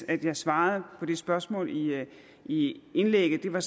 at jeg svarede på det spørgsmål i indlægget det var